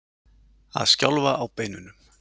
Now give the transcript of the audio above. Að skjálfa á beinunum